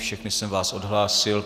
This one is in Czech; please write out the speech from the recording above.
Všechny jsem vás odhlásil.